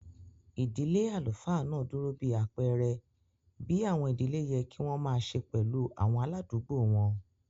Ìdílé àlùfáà náà dúró bí àpẹ̀ẹrẹ bí àwọn ìdílé yẹ kí wọ́n màa se pẹ̀lú àwọn aláàdùgbò wọn